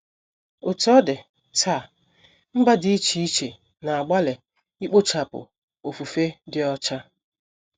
Otú ọ dị, taa, mba dị iche iche na - agbalị ikpochapụ ofufe dị ọcha.